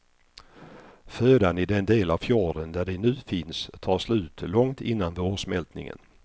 Födan i den del av fjorden där de nu finns tar slut långt innan vårsmältningen.